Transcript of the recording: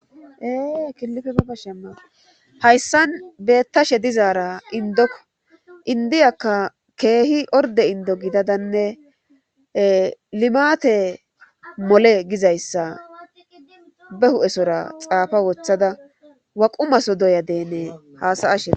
Ee killife baba shemma hayssan beettashe dizaara indokko indiyakka keehi orde indo gidadanne limaate mole gizayssa be hu'esora xaafa wothada waqu maso doya dene haasayasheea.